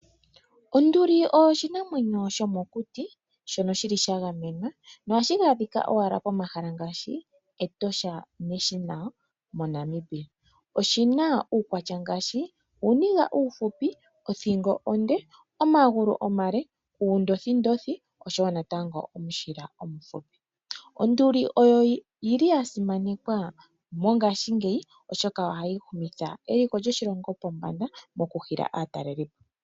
Onduli oyo oshinamwenyo shomokuti shono shi li sha gamenwa noha shi adhika owala momahala ngaashi Etosha National moNamibia. Oshi na uukwatya ngaashi: uuniga uufupi, othingo onde, omagulu omale, uundothindothi osho wo omushila omufipi. Onduli oya simanekwa mongashingeyi oshoka oha yi shunitha eliko lyoshilongo pombanda moku hila aatalelipo.